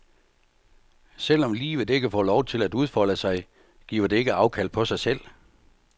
Selv om livet ikke får lov til at udfolde sig, giver det ikke afkald på sig selv.